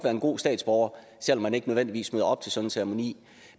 en god statsborger selv om man ikke nødvendigvis møder op til sådan en ceremoni